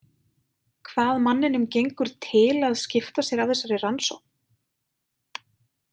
Hvað manninum gengur til að skipta sér af þessari rannsókn?